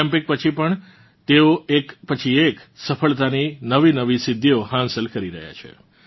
Olympic પછી પણ તેઓ એક પછી એક સફળતાની નવીનવી સિદ્ધીઓ હાંસિલ કરી રહ્યાં છે